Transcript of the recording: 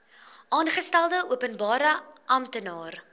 aangestelde openbare amptenaar